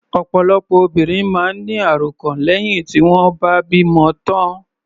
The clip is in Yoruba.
Ọ̀pọ̀lọpọ̀ obìnrin máa ń ní àròkàn lẹ́hìn tí wọ́n bá bímọ tán.